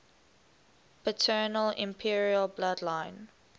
paternal imperial bloodline